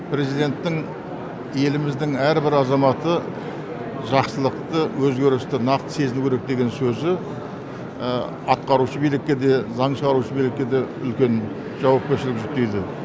президенттің еліміздің әрбір азаматы жақсылықты өзгерісті нақты сезіну керек деген сөзі атқарушы билікке де заң шығарушы билікке де үлкен жауапкершілік жүктейді